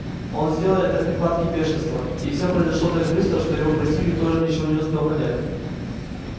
он сделал это в припадке бешенства и все произошло так быстро что его противник тоже ничего не успел понять